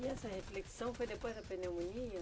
E essa reflexão foi depois da pneumonia?